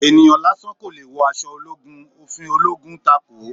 Ènìyàn lásán kò leè wọ aṣọ ológun, òfin ológun takòó